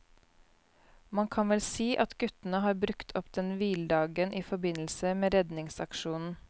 Man kan vel si at guttene har brukt opp den hviledagen i forbindelse med redningsaksjonen.